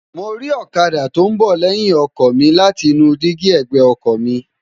mo ri ọ̀kadà tó ń bọ̀ lẹ́yìn ọkọ̀ mi láti inú dígí ẹ̀gbẹ́ ọkọ mi